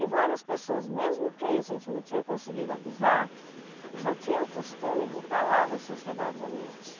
E várias pessoas, mesmo quem a gente não tinha conseguido avisar, já tinham o costume de estar lá na sociedade à noite.